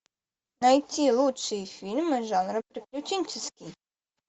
найти лучшие фильмы жанра приключенческий